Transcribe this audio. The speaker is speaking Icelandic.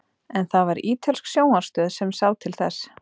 en það var ítölsk sjónvarpsstöð sem sá til þess